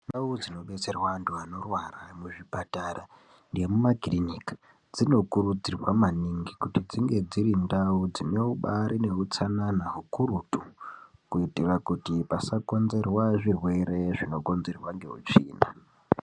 Ndau dzinobetserwa vantu vanorwara muzvipatara nemumakiriniki dzinokurudzirwa maningi kuti dzinge dziri ndau dzinobaari neutsanana hukurutu kuitira kuti pasakonzerwa zvirwere zvinokonzerwa ngeutsvina.